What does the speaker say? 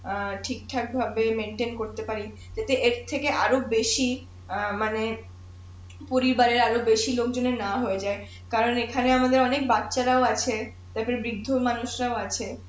ঠিকঠাক ভাবে করতে পারি যদি এর থেকে আরো বেশি অ্যাঁ মানে পরিবারের আরো বেশি লোকজনের না হয়ে যায় কারন এখানে আমাদের অনেক বাচ্চারাও আছে তার পরে বৃদ্ধ মানুষরা ও আছে